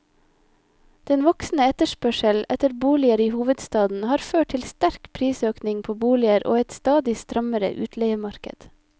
Den voksende etterspørsel etter boliger i hovedstaden har ført til sterk prisøkning på boliger og et stadig strammere utleiemarked.